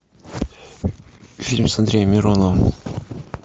фильм с андреем мироновым